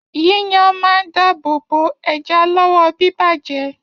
Yíyan máa n dáàbò bo ẹja lọwọ bibajẹ.